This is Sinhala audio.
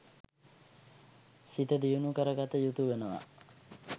සිත දියුණු කර ගත යුතු වනවා